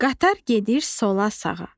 Qatar gedir sola-sağa.